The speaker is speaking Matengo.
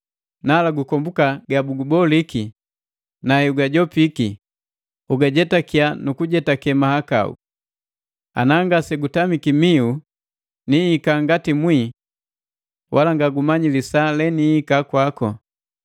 Nala gukombuka ga bukuboliki, na heugajopiki, ugajetakia nu kujetake mahakau. Ana ngase gutamiki miu niika ngati mwii wala nga gumanyi lisaa le niika kwaku.